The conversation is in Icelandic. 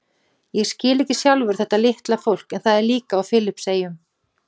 Ég skil ekki sjálfur þetta litla fólk en það er líka á Filippseyjum.